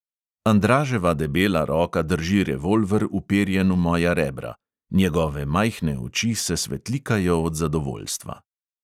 Andraževa debela roka drži revolver, uperjen v moja rebra, njegove majhne oči se svetlikajo od zadovoljstva.